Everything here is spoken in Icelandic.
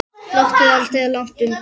Glottið var aldrei langt undan.